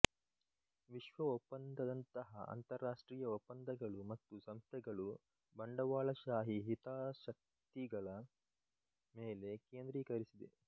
ವಿಶ್ವ ಒಪ್ಪಂದದಂತಹ ಅಂತರರಾಷ್ಟ್ರೀಯ ಒಪ್ಪಂದಗಳು ಮತ್ತು ಸಂಸ್ಥೆಗಳು ಬಂಡವಾಳಶಾಹಿ ಹಿತಾಸಕ್ತಿಗಳ ಮೇಲೆ ಕೇಂದ್ರೀಕರಿಸಿದೆ